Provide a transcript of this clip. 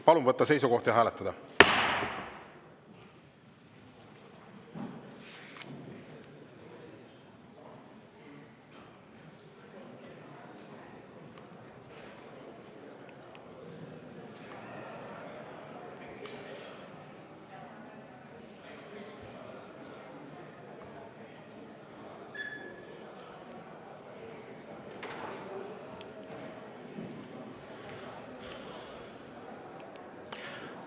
Palun võtta seisukoht ja hääletada!